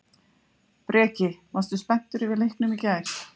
Breki: Og varstu spenntur yfir leiknum í gær?